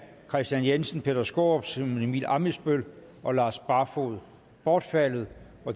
kristian jensen peter skaarup simon emil ammitzbøll og lars barfoed bortfaldet